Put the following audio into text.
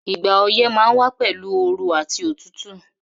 Ìgbà oyẹ́ ma n wa pẹ̀lu ooru àti otútù